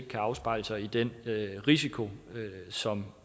kan afspejle sig i den risiko som